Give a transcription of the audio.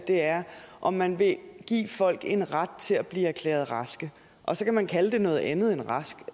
er om man vil give folk en ret til at blive erklæret raske og så kan man kalde det noget andet end rask